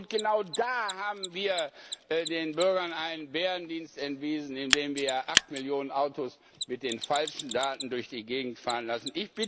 Städten. Und genau da haben wir den Bürgern einen Bärendienst erwiesen, indem wir acht Millionen Autos mit den falschen Daten durch die Gegend fahren